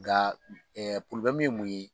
Nga ye mun ye?